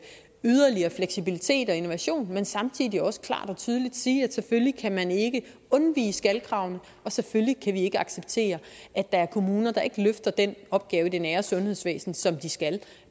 yderligere fleksibilitet og innovation men samtidig er det også klart og tydeligt at sige at selvfølgelig kan man ikke undvige skal kravene og selvfølgelig kan vi ikke acceptere at der er kommuner der ikke løfter den opgave i det nære sundhedsvæsen som de skal